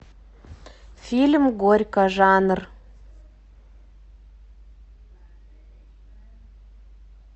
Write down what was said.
фильм горько жанр